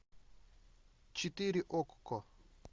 четыре окко